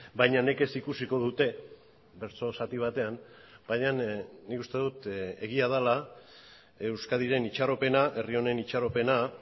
baina nekez ikusiko dute bertso zati batean baina nik uste dut egia dela euskadiren itxaropena herri honen itxaropena